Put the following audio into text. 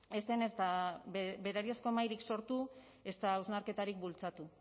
ez zen ezta berariazko mahairik sortu ezta hausnarketarik bultzatu